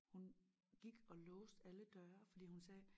Hun gik og låste alle døre fordi hun sagde